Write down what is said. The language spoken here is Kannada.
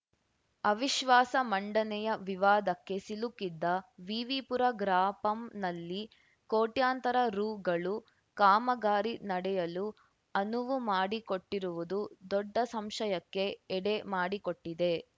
ಅವಿಶ್ವಾಸ ಮಂಡನೆಯ ವಿವಾದಕ್ಕೆ ಸಿಲುಕಿದ್ದ ವಿವಿಪುರ ಗ್ರಾಪಂನಲ್ಲಿ ಕೋಟ್ಯಂತರ ರುಗಳು ಕಾಮಗಾರಿ ನಡೆಯಲು ಅನುವು ಮಾಡಿಕೊಟ್ಟಿರುವುದು ದೊಡ್ಡ ಸಂಶಯಕ್ಕೆ ಎಡೆ ಮಾಡಿಕೊಟ್ಟಿದೆ